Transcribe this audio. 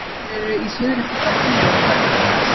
þeir eru í suðri klukkan tíu að kvöldi í mars